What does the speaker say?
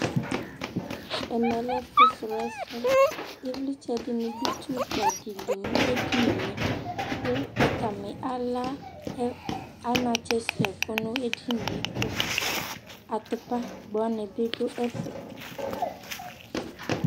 ɛmẽlɛ ɛfʊsrọɛsɛ ïvlitsé ɖʊ itsʊkpɑɗili ɲéɖiɲniɛ kʊ ɑtɑɲi ɑlă ɑɲɑtsɛ ṣɛkũ ɲɛɗiɲiɛ kω ɑtʊkpɑgbọɲi ɖuɛfé